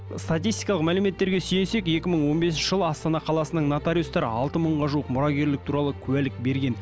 статистикалық мәліметтерге сүйінсек екі мың он бесінші жылы астана қаласының нотариустар алты мыңға жуық мұрагерлік туралы куәлік берген